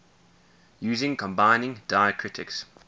using combining diacritics